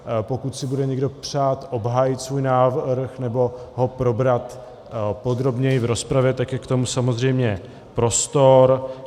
Pokud si bude někdo přát obhájit svůj návrh nebo ho probrat podrobněji v rozpravě, tak je k tomu samozřejmě prostor.